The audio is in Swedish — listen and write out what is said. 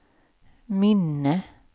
minne